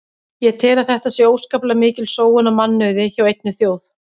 Ég tel að þetta sé óskaplega mikil sóun á mannauði hjá einni þjóð.